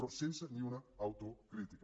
però sense ni una autocrítica